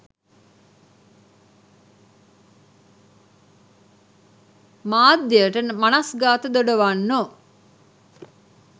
මාධ්‍යයට මනස්ගාත දොඩවන්නෝ